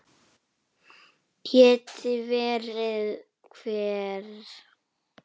Geti verið hver?